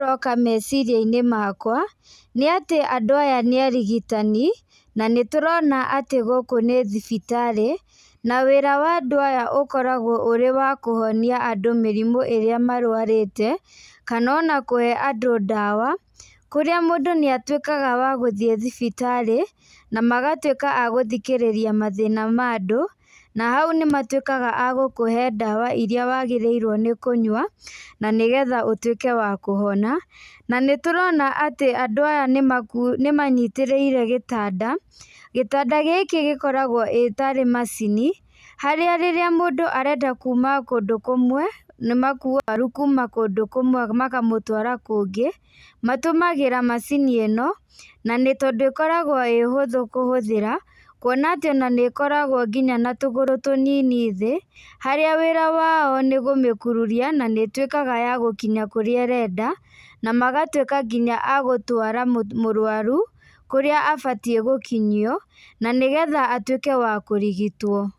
Ũroka meciria-inĩ makwa, nĩ atĩ andũ aya nĩ arigitani, na nĩ tũrona atĩ gũkũ nĩ thibitarĩ, na wĩra wa andũ aya ũkoragwo wĩ wa kũhonia andũ mĩrimũ ĩrĩa marwarĩte, kana ona kũhe andũ ndawa , kũrĩa mũndũ nĩ atuĩkaga wa gũthiĩ thibitarĩ, na magatuĩka agũthikĩrĩria mathĩna ma andũ , na hau nĩ matuĩkaga agũkũhe ndawa iria wagĩrĩrwo nĩ kũnyua, nĩgetha ũtuĩke wa kũhona , na nĩ tũrona atĩ andũ aya nĩ manyitĩrĩire gĩtanda, gĩtanda gĩkĩ gĩkoragwo ĩtarĩ macini , harĩa rĩrĩa mũndũ arenda kuma kũndũ kũmwe, nĩ makuaga arwaru kuma kũndũ kũmwe makamũtwara kũngĩ, na matũmagĩra macini ĩno, nĩ tondũ ĩkoragwo ĩ hũthũ kũhũthĩra, kuona atĩ nginya nĩ ĩkoragwo na tũgũrũ tũnini thĩ, harĩa wĩra wao nĩ gũmĩkururia na ĩtuĩkaga ya gũkinya kũrĩa ĩrenda, na magatuĩka nginya agũtwara mũrwaru, kũrĩa abatiĩ gũkinyio, na nĩgetha atuĩke wa kũrigitwo.